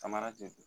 Samara tɛ